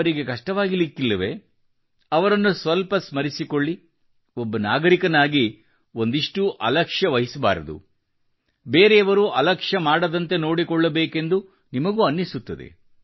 ಅವರಿಗೆ ಕಷ್ಟವಾಗಲಿಕ್ಕಿಲ್ಲವೇ ಅವರನ್ನು ಸ್ವಲ್ಪ ಸ್ಮರಿಸಿಕೊಳ್ಳಿ ಒಬ್ಬ ನಾಗರಿಕನಾಗಿ ಒಂದಿಷ್ಟೂ ಅಲಕ್ಷ್ಯವಹಿಸಬಾರದು ಬೇರೆಯವರೂ ಅಲಕ್ಷ್ಯಮಾಡದಂತೆ ನೋಡಿಕೊಳ್ಳಬೇಕೆಂದು ನಿಮಗೂ ಅನ್ನಿಸುತ್ತದೆ